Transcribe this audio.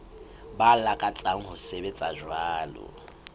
ba lakatsang ho sebetsa jwalo